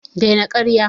Dai na ƙarya